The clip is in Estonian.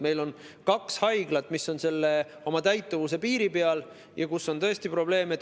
Meil on kaks haiglat, mis on oma täituvuse piiri peal ja kus on tõesti probleem.